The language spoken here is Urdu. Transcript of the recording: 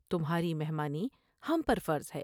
تمھاری مہمانی ہم پر فرض ہے ۔